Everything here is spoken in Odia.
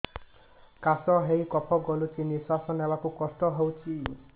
କାଶ ହେଇ କଫ ଗଳୁଛି ନିଶ୍ୱାସ ନେବାକୁ କଷ୍ଟ ହଉଛି